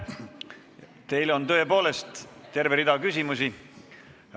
Teile on tõepoolest terve rida küsimusi.